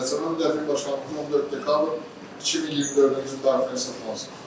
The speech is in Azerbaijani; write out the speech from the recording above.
Cəzaçəkmə müddətinin başlanğıcı 14 dekabr 2024-cü il tarixdən hesablansın.